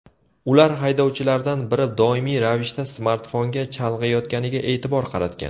Ular haydovchilardan biri doimiy ravishda smartfonga chalg‘iyotganiga e’tibor qaratgan.